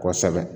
Kosɛbɛ